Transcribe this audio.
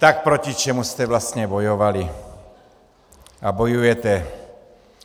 Tak proti čemu jste vlastně bojovali a bojujete?